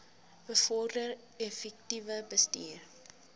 bevorder effektiewe bestuur